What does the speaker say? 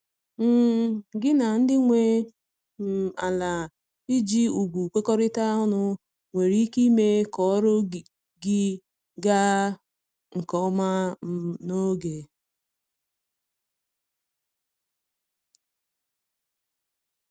um Gị na ndị nwe um ala iji ùgwù kwekorita ọnụ nwere ike ime ka ọrụ gị ga nke ọma um n'oge